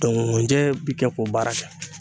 nkunjɛ bi kɛ k'o baara kɛ